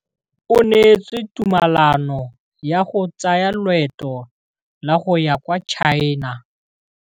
O neetswe tumalanô ya go tsaya loetô la go ya kwa China.